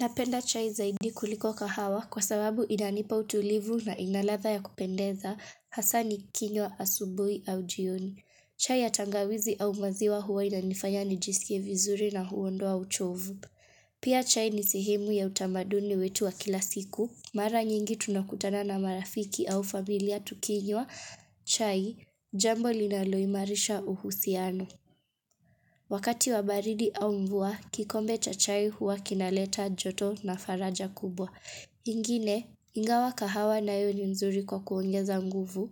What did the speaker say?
Napenda chai zaidi kuliko kahawa kwa sababu inanipa utulivu na ina ladha ya kupendeza hasa nikinywa asubuhi au jioni. Chai ya tangawizi au maziwa huwa inanifanya nijisikie vizuri na huondoa uchovu. Pia chai ni sehemu ya utamaduni wetu wa kila siku. Mara nyingi tunakutana na marafiki au familia tukinywa chai jambo linaloimarisha uhusiano. Wakati wa baridi au mvua, kikombe cha chai huwa kinaleta joto na faraja kubwa. Ingine, ingawa kahawa nayo ni mzuri kwa kuongeza nguvu.